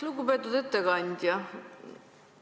Lugupeetud ettekandja!